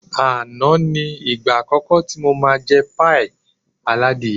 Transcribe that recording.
Àná ni ìgbà àkọ́kọ́ tí mo máa jẹ páì aládìyẹ